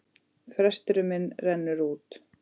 Frestur minn rennur út.